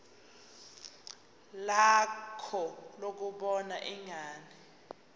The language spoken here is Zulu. lakho lokubona ingane